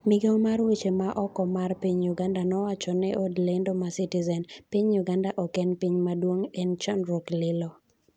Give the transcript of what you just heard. migawo mar weche ma oko mar piny Uganda nowachone od lendo ma Citizen :piny Uganda ok en piny maduong',en chandruok lilo"